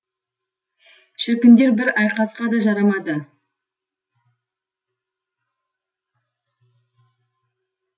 шіркіндер бір айқасқа да жарамады